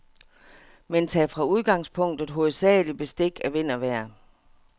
Men tag fra udgangspunktet hovedsageligt bestik af vind og vejr.